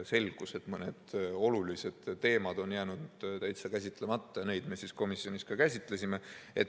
Selgus, et mõned olulised teemad on jäänud täitsa käsitlemata, ja neid me siis komisjonis ka käsitlesime.